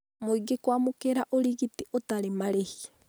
Mũingĩ kwamũkĩra ũrigiti ũtarĩ marĩhi